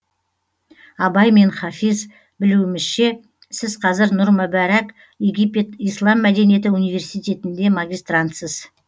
абай мен хафиз білуімізше сіз қазір нұр мүбәрәк египет ислам мәдениеті университетінде магистрантсыз